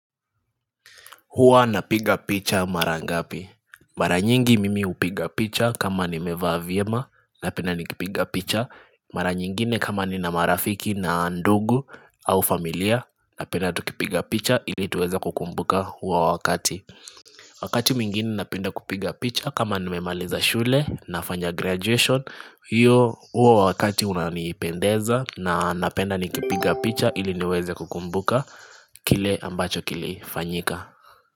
Huwa napiga picha mara ngapi? Mara nyingi mimi hupiga picha kama nimevaa vyema napenda nikipiga picha Mara nyingine kama nina marafiki na ndugu au familia na penda tukipiga picha ili tuweza kukumbuka huwa wakati Wakati mwingine napenda kupiga picha kama nimemaliza shule nafanya graduation hiyo huwa wakati unaniipendeza na napenda nikipiga picha ili niweza kukumbuka kile ambacho kilifanyika.